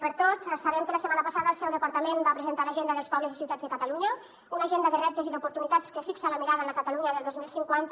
per tot sabem que la setmana passada el seu departament va presentar l’agenda dels pobles i ciutats de catalunya una agenda de reptes i d’oportunitats que fixa la mirada en la catalunya del dos mil cinquanta